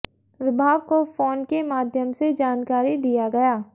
विभाग को फोन के माध्यम से जानकारी दिया गया